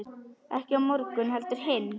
Ekki á morgun heldur hinn.